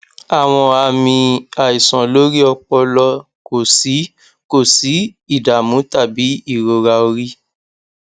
awọn aami aiṣan lori ọpọlọ ko si ko si idamu tabi irora ori